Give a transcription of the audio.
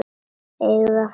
Eigum við að fara inn?